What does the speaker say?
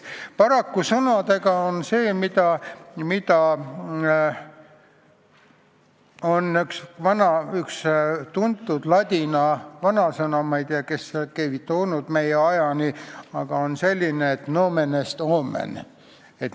Paraku tuleb meenutada ühte tuntud ladina vanasõna: nomen est omen.